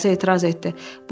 Bir başqası etiraz etdi.